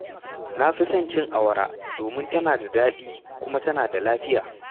Na fi son cin awara domin tana da daɗi kuma tana sa lafiya.